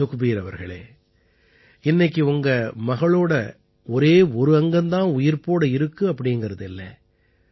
சுக்பீர் அவர்களே இன்னைக்கு உங்க மகளோட ஒரே ஒரு அங்கம் தான் உயிர்ப்போட இருக்கு அப்படீங்கறது இல்லை